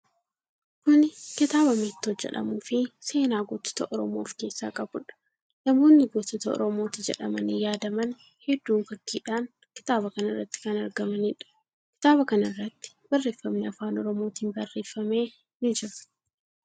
Kuni kitaabaa 'Meettoo' jedhamuu fi seenaa gootota Oromoo of keessaa qabuudha. Namootni gootota Oromooti jedhamanii yaadaman hedduun fakkiidhan kitaaba kanarratti kan argamaniidha. Kitaaba kanarratti barreeffamni afaan Oromootin barreeffame ni jira.